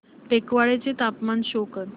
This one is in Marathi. टेकवाडे चे तापमान शो कर